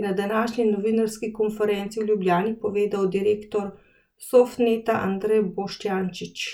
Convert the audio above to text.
je na današnji novinarski konferenci v Ljubljani povedal direktor Softneta Andrej Boštjančič.